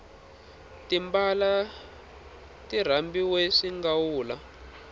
timbala ti rambiwe swingawula